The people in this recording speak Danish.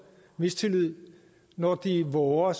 mistillid når de vover